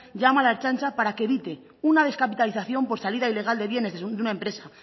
llama a la ertzaintza para que evite una descapitalización por salida ilegal de bienes de una empresa